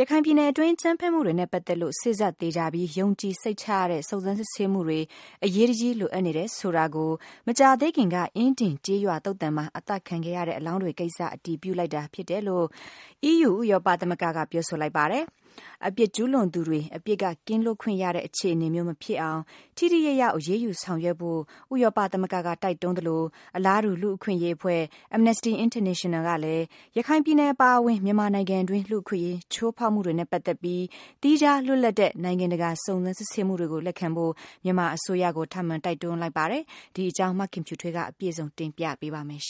ရခိုင်ပြည်နယ်အတွင်း အကြမ်းဖက်မှုတွေနဲ့ ပတ်သက်လို့ စေ့စပ်သေချာပြီး ယုံကြည်စိတ်ချရတဲ့ စုံစမ်းစစ်ဆေးမှုတွေ အရေးတကြီး လိုအပ်နေတယ်ဆိုတာကို မကြာသေးခင်က အင်းဒင် ကျေးရွာသုသာန်မှာ အသတ်ခံခဲ့ရတဲ့ အလောင်းတွေကိစ္စက အတည်ပြုလိုက်တာ ဖြစ်တယ်လို့ အီးယူ ဥရောပမဂ္ဂက ပြောဆိုလိုက်ပါတယ်။ အပြစ်ကျူးလွန်ခဲ့သူတွေ အပြစ်က ကင်းလွတ်ခွင့်ရတဲ့ အခြေအနေမျိုး မဖြစ်အောင် ထိထိရောက်ရောက် အရေးယူဆောင်ရွက်ဖို့ ဥရောပသမဂ္ဂက တိုက်တွန်းသလို၊ အလားတူ လူ့အခွင့်အရေးအဖွဲ့ Amnesty International ကလည်း ရခိုင်ပြည်နယ် အပါအဝင် မြန်မာနိုင်ငံတွင်း လူ့အခွင့်အရေး ချိုးဖောက်မှုတွေနဲ့ပတ်သက်ပြီး သီးခြားလွတ်လပ်တဲ့ နိုင်ငံတကာ စုံစမ်း စစ်ဆေးမှုတွေကို လက်ခံဖို့ မြန်မာအစိုးရကို ထပ်မံ တိုက်တွန်းလိုက်တဲ့အကြောင်း မခင်ဖြူထွေးက အပြည့်စုံ တင်ပြပေးပါမယ်။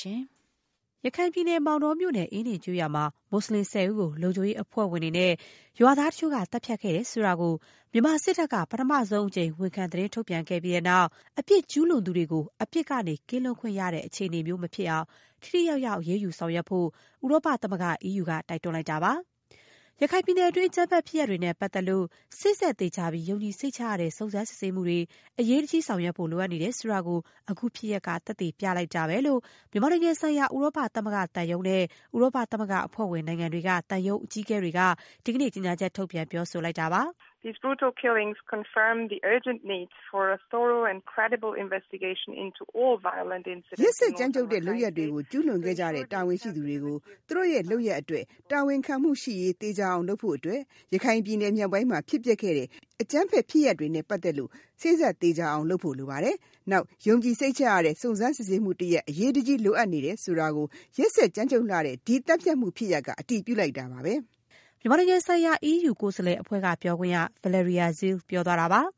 ရခိုင်ပြည်နယ် မောင်တောမြို့နယ် အင်းဒင်ကျေးရွာမှာ မူစလင် ၁၀ ဦးကို လုံခြုံရေးအဖွဲ့ဝင်တွေနဲ့ ရွာသားတချို့က သတ်ဖြတ်ခဲ့တယ် ဆိုတာကို မြန်မာစစ်တပ်က ပထမဆုံးအကြိမ် ဝန်ခံ သတင်းထုတ်ပြန်ခဲ့ပြီးတဲ့နောက် အပြစ်ကျူးလွန်ခဲ့သူတွေကို အပြစ်က ကင်းလွတ်ခွင့်ရတဲ့ အခြေအနေမျိုး မဖြစ်အောင် ထိထိရောက်ရောက် အရေးယူဆောင်ရွက်ဖို့ ဥရောပသမဂ္ဂက တိုက်တွန်းလိုက်တာပါ။ ရခိုင်ပြည်နယ်တွင်း အကြမ်းဖက်ဖြစ်ရပ်တွေနဲ့ ပတ်သက်လို့ စေ့စပ်သေချာပြီး ယုံကြည်စိတ်ချရတဲ့ စုံစမ်းစစ်ဆေးမှုတွေ အရေးတကြီး ဆောင်ရွက်ဖို့ လိုအပ်နေတယ် ဆိုတာကို အခုဖြစ်ရပ်က သက်သေပြလိုက်တာပဲလို့ မြန်မာနိုင်ငံဆိုင်ရာ ဥရောပသမဂ္ဂသံရုံးနဲ့ ဥရောပသမဂ္ဂအဖွဲ့ဝင် နိုင်ငံတွေက သံရုံးအကြီးအကဲတွေက ဒီကနေ့ ကြေညာချက် ထုတ်ပြန် ပြောဆိုလိုက်ပါတယ်။ “ရက်စက်ကြမ်းကြုတ်တဲ့ လုပ်ရပ်တွေကို ကျူးလွန်ခဲ့ကြတဲ့ တာဝန်ရှိသူတွေကို သူတို့ရဲ့လုပ်ရပ်အတွက် တာဝန်ခံမှုရှိရေး သေချာအောင်လုပ်ဖို့အတွက် ရခိုင်ပြည်နယ်မြောက်ပိုင်းမှာ ဖြစ်ပျက်ခဲ့တဲ့ အကြမ်းဖက်ဖြစ်ရပ်တွေနဲ့ပတ်သက်လို့ စေ့စပ်သေချာပြီး ယုံကြည်စိတ်ချရတဲ့ စုံစမ်းစစ်ဆေးမှုတရပ် အရေးတကြီး လိုအပ်နေတယ်ဆိုတာကို ရက်စက်ကြမ်းကြုတ်လှတဲ့ အခု သတ်ဖြတ်မှုဖြစ်ရပ်က အတည်ပြုလိုက်တာပါပဲ။” မြန်မာနိုင်ငံဆိုင်ရာ အီးယူ ကိုယ်စားလှယ်အဖွဲ့က ပြောခွင့်ရ Valerie Zirl ပြောသွားတာပါ။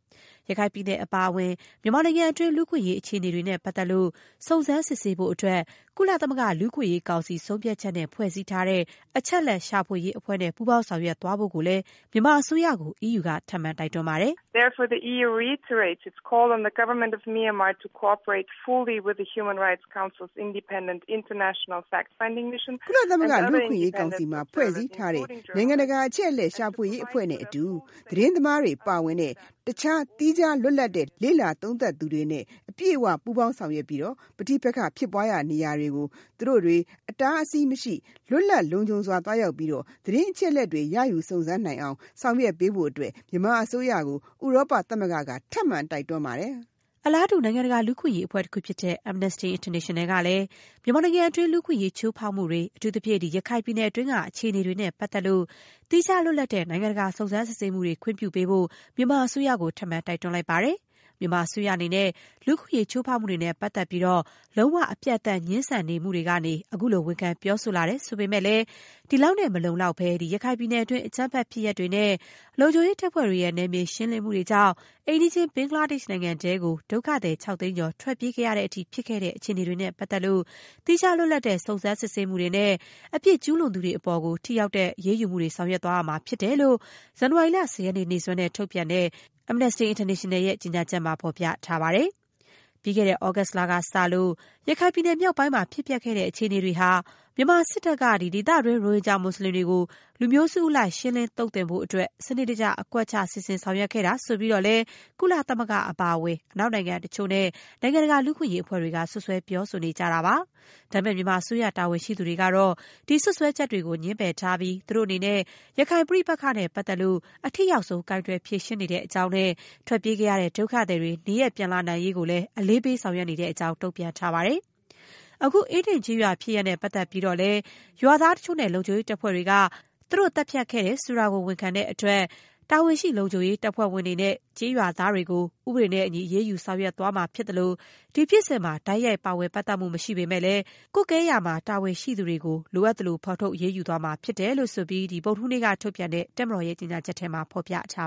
ရခိုင်ပြည်နယ် အပါအဝင် မြန်မာနိုင်ငံတွင်း လူ့အခွင့်အရေး အခြေအနေတွေနဲ့ပတ်သက်လို့ စုံစမ်းစစ်ဆေးဖို့အတွက် ကုလသမဂ္ဂ လူ့အခွင့်အရေးကောင်စီ ဆုံးဖြတ်ချက်နဲ့ ဖွဲ့စည်းထားတဲ့ အချက်အလက်ရှာဖွေရေးအဖွဲ့ နဲ့ ပူးပေါင်းဆောင်ရွက်သွားဖို့ကိုလည်း EU က မြန်မာအစိုးရကို ထပ်မံ တိုက်တွန်းပါတယ်။ “ကုလသမဂ္ဂ လူ့အခွင့်အရေးကောင်စီမှာ ဖွဲ့စည်းထားတဲ့ နိုင်ငံတကာ အချက်အလက်ရှာဖွေရေးအဖွဲ့ နဲ့အတူ သတင်းသမားတွေပါ ပါဝင်တဲ့ တခြားသော သီးခြား လွတ်လပ်တဲ့ လေ့လာသုံးသပ်သူတွေနဲ့ အပြည့်အ၀ ပူးပေါင်းဆောင်ရွက်ပြီး ပဋိပက္ခ ဖြစ်ပွားရာနေရာတွေကို သူတို့တွေ အတားအဆီးမရှိ လွတ်လပ်လုံခြုံစွာ သွားရောက်ပြီး သတင်းအချက်အလက်တွေ ရယူစုံစမ်းနိုင်အောင် ဆောင်ရွက်ပေးဖို့ မြန်မာအစိုးရကို ဥရောပသမဂ္ဂက ထပ်မံ တိုက်တွန်းပါတယ်။” အလားတူ နိုင်ငံတကာ လူ့အခွင့်အရေးအဖွဲ့တခုဖြစ်တဲ့ Amnesty International ကလည်း မြန်မာနိုင်ငံတွင်း လူ့အခွင့်အရေး ချိုးဖောက်မှုတွေ၊ အထူးသဖြင့် ရခိုင်ပြည်နယ်တွင်း အခြေအနေတွေနဲ့ ပတ်သက်လို့ သီးခြားလွတ်လပ်တဲ့ နိုင်ငံတကာ စုံစမ်း စစ်ဆေးမှုတွေ ခွင့်ပြုဖို့ မြန်မာအစိုးရကို ထပ်မံ တိုက်တွန်းလိုက်ပါတယ်။ မြန်မာအစိုးရအနေနဲ့ လူ့အခွင့်အရေး ချိုးဖောက်မှုတွေနဲ့ပတ်သက်လို့ လုံး၀ အပြတ် ငြင်းဆန်မှုတွေကနေ အခုလို ဝန်ခံပြောဆိုလာတယ် ဆိုပေမဲ့လည်း၊ ဒီလောက်နဲ့ မလုံလောက်ဘဲ ရခိုင်ပြည်နယ်တွင်း အကြမ်းဖက်ဖြစ်ရပ်တွေနဲ့ လုံခြုံရေးတပ်ဖွဲ့တွေရဲ့ နယ်မြေရှင်းလင်းမှုတွေကြောင့် အိမ်နီးချင်း ဘင်္ဂလားဒေ့ရှ်နိုင်ငံထဲကို ဒုက္ခသည် ၆ သိန်းကျော် ထွက်ပြေးခဲ့ရတဲ့အထိ ဖြစ်ခဲ့တဲ့ အခြေအနေတွေနဲ့ ပတ်သက်လို့ သီးခြား လွတ်လပ်တဲ့စုံစမ်းစစ်ဆေးမှုတွေနဲ့ အပြစ်ကျူးလွန်သူတွေအပေါ် ထိရောက်တဲ့ အရေးယူမှုတွေ လုပ်ဆောင်သွားရမှာဖြစ်တယ်လို့ ဇန်နဝါရီလ ၁၀ ရက်နေ့ နေ့စွဲနဲ့ ထုတ်ပြန်တဲ့Amnesty International ရဲ့ ကြေညာချက်မှာ ဖော်ပြထားပါတယ်။ ပြီးခဲ့တဲ့ သြဂုတ်လကစလို့ ရခိုင်ပြည်နယ်မြောက်ပိုင်းမှာ ဖြစ်ပျက်ခဲ့တဲ့ အခြေအနေတွေဟာ မြန်မာစစ်တပ်က ဒေသတွင်းက ရိုဟင်ဂျာ မူစလင်တွေကို လူမျိုးစုအလိုက် ရှင်းလင်းသုတ်သင်ဖို့ စနစ်တကျ အကွက်ချ စီစဉ်ဆောင်ရွက်ခဲ့တာ ဆိုပြီးတော့လည်း ကုလသမဂ္ဂ အပါအဝင် အနောက်နိုင်ငံတချို့နဲ့ နိုင်ငံတကာ လူ့အခွင့်အရေး အဖွဲ့တွေက စွပ်စွဲပြောဆိုထားတာပါ။ ဒါပေမဲ့ မြန်မာအစိုးရ တာဝန်ရှိသူတွေကတော့ ဒီစွပ်စွဲချက်တွေကို ငြင်းပယ်ထားပြီး သူတို့အနေနဲ့ ရခိုင်ပြည်နယ် ပဋိပက္ခနဲ့ပတ်သက်ပြီး အထိရောက်ဆုံး ကိုင်တွယ်ဖြေရှင်းနေတဲ့အကြောင်းနဲ့ ထွက်ပြေးခဲ့ရတဲ့ ဒုက္ခသည်တွေ နေရပ်ပြန်ပို့ရေး အလေးပေး ဆောင်ရွက်နေတဲ့အကြောင်း တုံ့ပြန်ထားပါတယ်။ အခု အင်းဒင်ကျေးရွာဖြစ်ရပ်နဲ့ ပတ်သက်လို့လည်း - ရွာသားတချိုု့နဲ့ လုံခြုံရေးတပ်ဖွဲ့ဝင်တွေက သူတို့ သတ်ဖြတ်ခဲ့တယ်ဆိုတာ ဝန်ခံတဲ့အတွက် တာဝန်ရှိ လုံခြုံရေး တပ်ဖွဲ့ဝင်တွေနဲ့ ကျေးရွာသားတွေကို ဥပဒေနဲ့အညီ အရေးယူဆောင်ရွက်သွားမှာဖြစ်သလို၊ ဖြစ်စဉ်မှာ တိုက်ရိုက်ပါဝင်ပတ်သက်မှု မရှိပေမဲ့လည်း ကွပ်ကဲဖို့တာဝန်ရှိတဲ့ သူတွေကိုလည်း လိုအပ်သလို ဖော်ထုတ်အရေးယူသွားမှာဖြစ်တဲ့အကြောင်း ဗုဒ္ဓဟူးနေ့က ထုတ်ပြန်တဲ့ တပ်မတော်ကြေညာချက်မှာ ဖော်ပြထားပါ